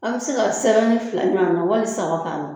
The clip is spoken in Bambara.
An bɛ se ka sɛbɛnni fila ɲɔgɔnna wali saba k'ala.